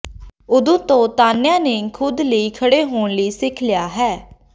ਉਦੋਂ ਤੋਂ ਤਾਨਿਆ ਨੇ ਖੁਦ ਲਈ ਖੜ੍ਹੇ ਹੋਣਾ ਸਿੱਖ ਲਿਆ ਹੈ